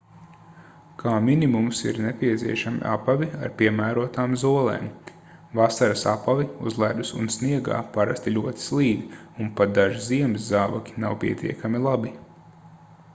kā minimums ir nepieciešami apavi ar piemērotām zolēm vasaras apavi uz ledus un sniegā parasti ļoti slīd un pat daži ziemas zābaki nav pietiekami labi